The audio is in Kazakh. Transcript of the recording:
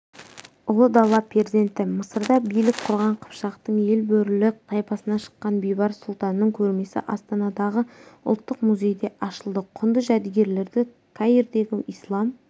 ұлы дала перзенті мысырда билік құрған қыпшақтың елбөрілі тайпасынан шыққан бейбарыс сұлтанның көрмесі астанадағы ұлттық музейде ашылды құнды жәдігерлерді каирдегі ислам